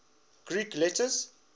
greek letters